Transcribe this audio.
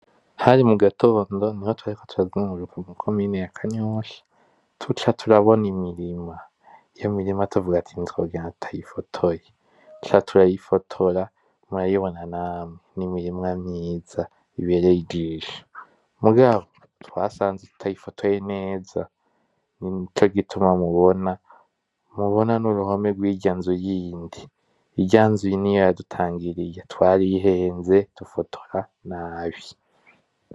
Hari mugatondo niho twariko turazunguruka mu komine ya kanyosha, tuca turabona imirima, iyo mirima tuvuga ati ntitwogenda tutayifotoye, tuca turayifotora murayibona namwe n'imirima myiza, ibereye ijisho, mugabo twasanze tutayifotoye neza nico gituma mubona n'uruhome rwirya'nzu yindi, irya nzu niyo yadutangiriye, twarihenze dufotora nabi.